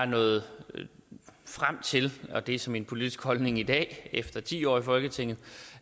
nået frem til og det er så min politiske holdning i dag efter ti år i folketinget